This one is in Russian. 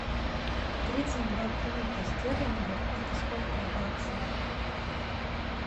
тридцать два фунта стерлингов это сколько в баксах